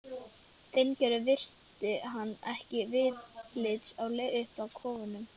Steingerður virti hann ekki viðlits á leið upp að kofunum.